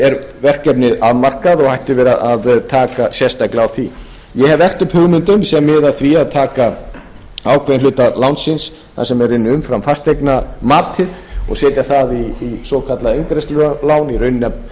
er verkefnið afmarkað og ættum við að taka sérstaklega á því ég hef velt upp hugmyndum sem miða að því að taka ákveðinn geta lánsins það sem er í rauninni umfram fasteignamatið og setja það í svokallað eingreiðslulán í rauninni að